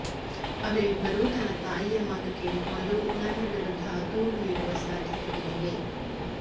ಅವರಿಬ್ಬರು ತನ್ನ ತಾಯಿಯ ಮಾತು ಕೇಳಿಕೊಂಡು ನನ್ನ ವಿರುದ್ಧ ದೂರು ನೀಡುವ ಸಾಧ್ಯತೆಗಳಿವೆ